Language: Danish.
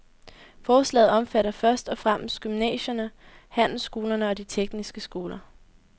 Forslaget omfatter først og fremmest gymnasierne, handelsskolerne og de tekniske skoler.